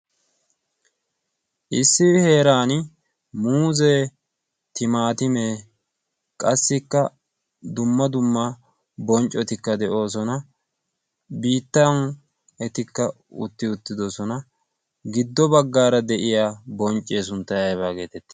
Issi heeran muuzee, timaatimee qassikka dumma dumma bonccotikka de7oosona. bittan etikka utti uttidosona giddo baggaara de7iya bonccee sunttay aybbaa geetette?